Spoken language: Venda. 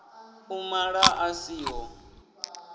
u mala a si ṱho